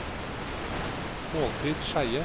Målfrid Skeie